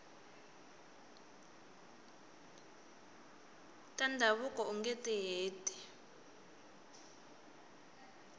ta ndhavuko ungeti heti